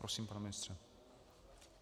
Prosím, pane ministře.